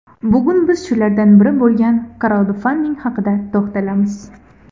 Bugun biz shulardan biri bo‘lgan kraudfanding haqida to‘xtalamiz.